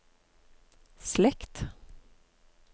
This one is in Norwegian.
slekt